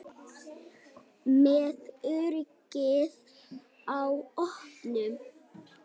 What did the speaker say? Með öryggið á oddinum